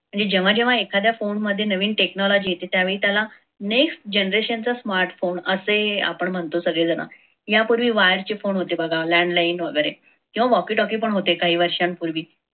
जेव्हा जेव्हा एखाद्या phone मध्ये नवीन technology येथे त्यावेळी त्याला next generation smart phone असे आपण म्हणतो सगळेजण यापूर्वी होते wire चे phone होते बघा landline वगैरे किव्वा walkytalky पण होते काही वर्षांपूर्वी